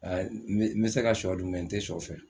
n be n be se ka sɔ dun n tɛ sɔ fɛ.